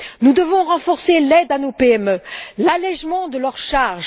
Nous devons renforcer l'aide à nos PME, l'allègement de leurs charges